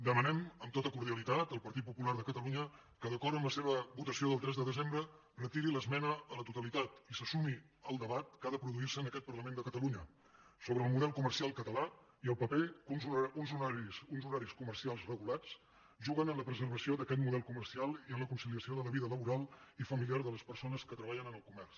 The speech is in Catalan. demanem amb tota cordialitat al partit popular de catalunya que d’acord amb la seva votació del tres de desembre retiri l’esmena a la totalitat i se sumi al debat que ha de produir se en aquest parlament de catalunya sobre el model comercial català i el paper que uns horaris comercials regulats juguen en la preservació d’aquest model comercial i en la conciliació de la vida laboral i familiar de les persones que treballen en el comerç